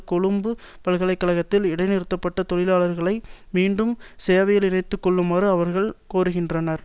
கொழும்பு பல்கலை கழகத்தில் இடைநிறுத்தப்பட்ட தொழிலாளர்களை மீண்டும் சேவையில் இணைத்துக்கொள்ளுமாறும் அவர்கள் கோருகின்றனர்